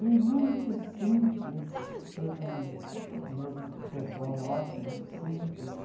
E muito simples, todo o mesmo pessoal nosso, muito simples.